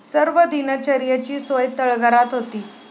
सर्व दिनचर्येची सोय तळघरात होती.